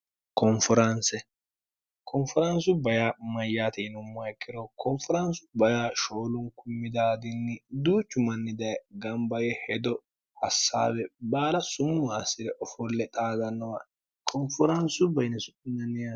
koonferaansu baya mayyaatiinumma ikkiro konferaansu bayaa shoolunku midaadinni duuchu manni daye gambaye hedo hassaawe baala sumuwaa si're ofolle xaagannowa koonferaansu baine